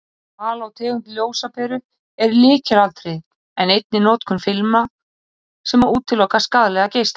Val á tegund ljósaperu er lykilatriði en einnig notkun filma sem útiloka skaðlega geisla.